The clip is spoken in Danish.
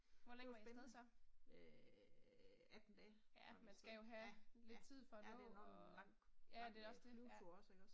Det var spændende. Øh 18 dage, var vi afsted. Ja, ja, ja det er nok en lang, lang øh flyvetur også ikke også